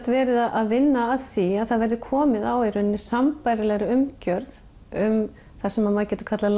verið að vinna að því að það verði komið á í rauninni sambærilegri umgjörð um það sem maður getur kallað